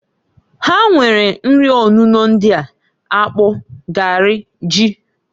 Ha nwere nri onuno ndịa, akpụ, garị, ji.